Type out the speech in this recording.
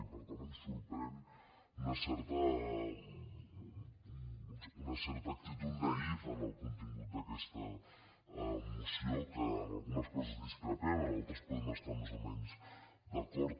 i per tant em sorprèn una certa actitud naïf en el contingut d’aquesta moció que en algunes coses discrepem en altres podem estar hi més o menys d’acord